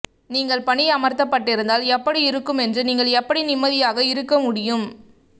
நீங்கள் பணியமர்த்தப்பட்டிருந்தால் எப்படி இருக்குமென்று நீங்கள் எப்படி நிம்மதியாக இருக்க முடியும்